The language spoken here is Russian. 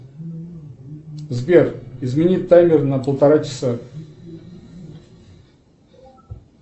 сбер измени таймер на полтора часа